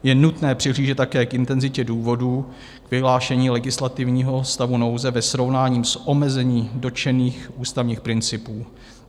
Je nutné přihlížet také k intenzitě důvodů k vyhlášení legislativního stavu nouze ve srovnání s omezením dotčených ústavních principů.